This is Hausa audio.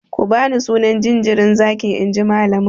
Ku bani sunan jinjirin zaki inji malamin!